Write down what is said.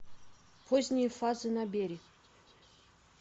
поздние фазы набери